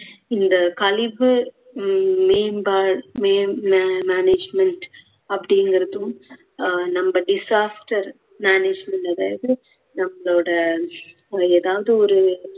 இந்த கழிவு உம் மேம்பா~ மேம்~ அஹ் management அப்படிங்குறதும் நம்ம disaster management அதாவது நம்மளோட ஏதாவது ஒரு